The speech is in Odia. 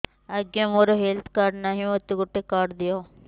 ଆଜ୍ଞା ମୋର ହେଲ୍ଥ କାର୍ଡ ନାହିଁ ମୋତେ ଗୋଟେ କାର୍ଡ ଦିଅ